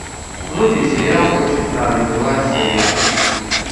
вруби сериал очень странные дела серия пять